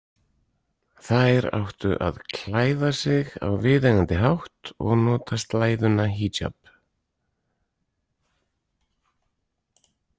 Þær áttu að klæða sig á viðeigandi hátt og nota slæðuna- híjab.